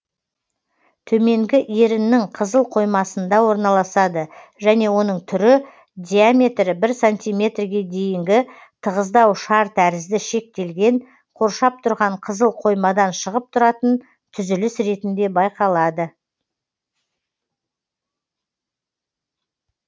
төменгі еріннің қызыл қоймасында орналасады және оның түрі диаметрі бір сантиметрге дейінгі тығыздау шар тәрізді шектелген қоршап тұрған қызыл қоймадан шығып тұратын түзіліс ретінде байқалады